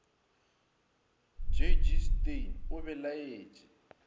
j g steyn o belaetše